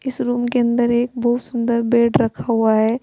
इस रूम के अंदर एक बहुत सुंदर बेड रखा हुआ है।